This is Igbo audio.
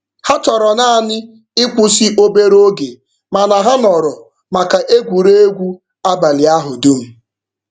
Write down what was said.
Ha chọrọ naanị ịkwụsị obere oge mana ha nọrọ maka egwuregwu abalị ahụ dum.